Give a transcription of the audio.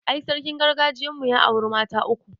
I, sarkin gargajiyan mu ya auri mata uku